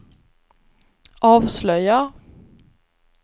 avslöjar